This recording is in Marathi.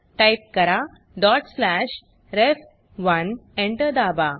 टाइप करा डॉट स्लॅश रेफ1 Enter दाबा